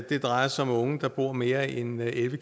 det drejer sig om unge der bor mere end elleve